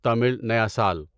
تامل نیا سال